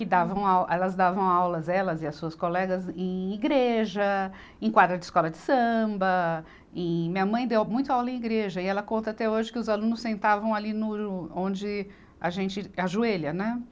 e davam au, elas davam aulas, elas e as suas colegas, em igreja, em quadra de escola de samba, e minha mãe deu muito aula em igreja, e ela conta até hoje que os alunos sentavam ali no, onde a gente ajoelha, né?